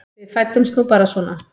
Við fæddumst nú bara svona.